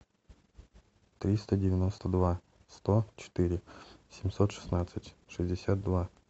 триста девяносто два сто четыре семьсот шестнадцать шестьдесят два